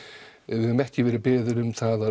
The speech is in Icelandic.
við höfum ekki verið beðin um það að